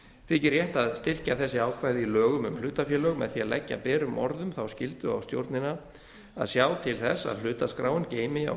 þykir rétt að styrkja þessi ákvæði í lögum um hlutafélög með því að leggja berum orðum þá skyldu á stjórnina að sjá til þess að hlutaskráin geymi á